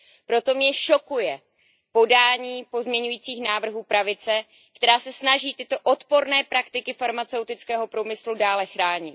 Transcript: Proto mě šokuje podání pozměňovacích návrhů pravice, která se snaží tyto odporné praktiky farmaceutického průmyslu dále chránit.